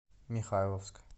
михайловск